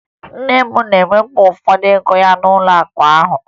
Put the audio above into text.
Nne m na-ewepụ ụfọdụ ego ya n'ụlọakụ ahụ